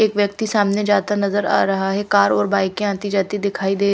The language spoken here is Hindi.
एक व्यक्ति सामने जाता नज़र आरहा है कार और बाइके आती जाती दिखाई दे --